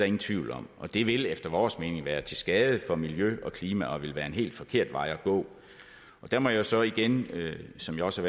ingen tvivl om og det vil efter vores mening være til skade for miljø og klima og ville være en helt forkert vej at gå og der må jeg så igen som jeg også